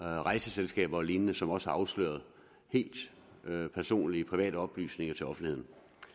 rejseselskaber og lignende som også har afsløret helt personlige private oplysninger til offentligheden